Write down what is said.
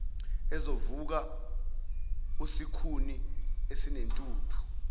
ezovuka usikhuni esinentuthu